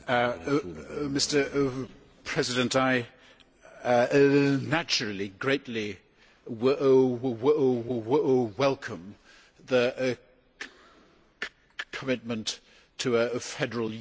Mr President, I naturally greatly welcome the commitment to a federal Europe.